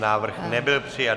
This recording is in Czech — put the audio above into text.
Návrh nebyl přijat.